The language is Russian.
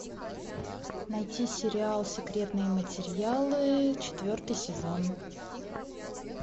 найти сериал секретные материалы четвертый сезон